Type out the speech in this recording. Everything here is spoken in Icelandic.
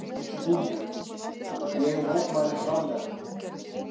SKÚLI: Ég mótmæli harðlega.